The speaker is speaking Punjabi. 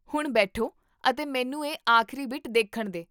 ਹੁਣ ਬੈਠੋ ਅਤੇ ਮੈਨੂੰ ਇਹ ਆਖਰੀ ਬਿੱਟ ਦੇਖਣ ਦੇ